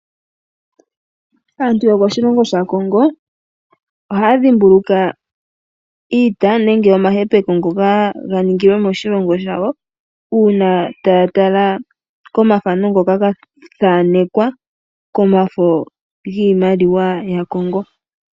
Aantu yokoshilongo shaCongo ohaya dhimbulukwa iita nenge omahepeko ngoka ga ningilwe moshilongo shawo uuna taya tala komathano ngoka ga thanekwa komafo giimaliwa yaCongo.